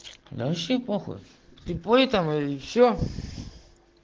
да вообще похуй слепой там или что